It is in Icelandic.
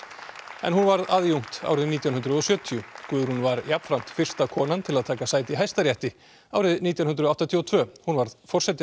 en hún varð aðjúnkt árið nítján hundruð og sjötíu Guðrún var jafnframt fyrsta konan til að taka sæti í Hæstarétti árið nítján hundruð áttatíu og tvö hún varð forseti